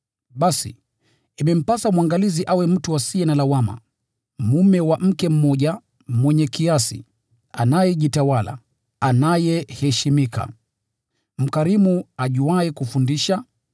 Basi, imempasa mwangalizi awe mtu asiye na lawama, mume wa mke mmoja, mwenye kiasi, anayejitawala, anayeheshimika, mkarimu, ajuaye kufundisha,